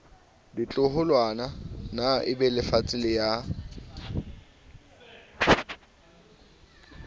ditloholwana na ebelefatshe le ya